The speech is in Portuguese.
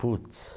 Puts!